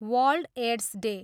World AIDS day.